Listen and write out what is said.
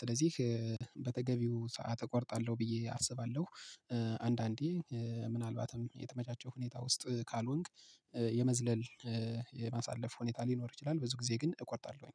ስለዚህ በተገቢው ሰዓት እቆርጣለሁ ብዬ አስባለሁ። አንዳንዴ ምናልባትም የተመቻቸው ሁኔታ ውስጥ ካልሆንክ የመዝለል የማሳለፍ ሁኔታ ሊኖር ይችላል። ብዙ ጊዜ ግን እቆርጣለሁኝ።